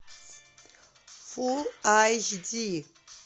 фул айч ди